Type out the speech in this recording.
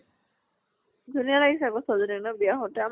ধুনীয়া লাগিছে আকৌ ছোৱালী জনী ন বিয়া হওতে